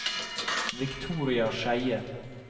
Victoria Skeie